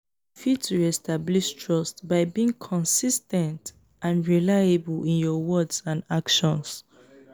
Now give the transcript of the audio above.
you fit re-establish trust by being consis ten t and reliable in your words and actions.